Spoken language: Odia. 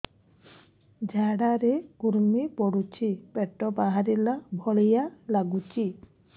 ଝାଡା ରେ କୁର୍ମି ପଡୁଛି ପେଟ ବାହାରିଲା ଭଳିଆ ଲାଗୁଚି